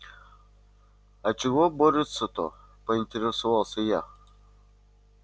а чего борются-то поинтересовался я